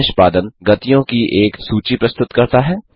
यह निष्पादन गतियों की एक सूची प्रस्तुत करता है